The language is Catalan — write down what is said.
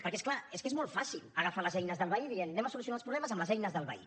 perquè és clar és que és molt fàcil agafar les eines del veí dient solucionarem els problemes amb les eines del veí